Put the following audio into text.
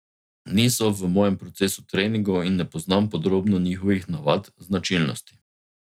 Niso v mojem procesu treningov in ne poznam podrobno njihovih navad, značilnosti ...